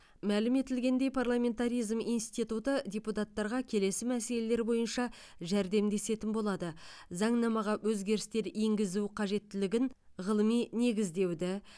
мәлім етілгендей парламентаризм институты депутаттарға келесі мәселелер бойынша жәрдемдесетін болады заңнамаға өзгерістер енгізу қажеттілігін ғылыми негіздеуді